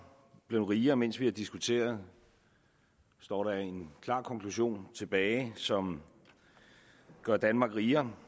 blevet rigere mens vi har diskuteret står der en klar konklusion tilbage som gør danmark rigere